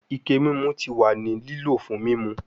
Ike mimu ti wa ni lilo fun mimu